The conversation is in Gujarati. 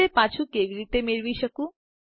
હું તે પાછું કેવી રીતે મેળવી શકું